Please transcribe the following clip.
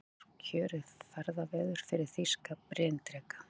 Þetta var kjörið ferðaveður fyrir þýska bryndreka.